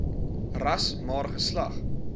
ras maar geslag